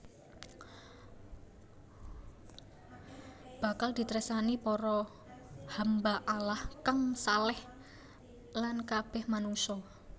Bakal ditresnani para hamba Allah kang shaleh lan kabeh manungsa